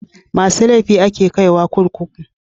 Masu laifi a ke kai wa kurkuku